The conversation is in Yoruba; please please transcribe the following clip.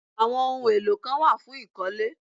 Àwọn ohun èlò kan wà fún ìkọ́lé